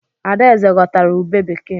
Adaeze ghọtara ubé bekee.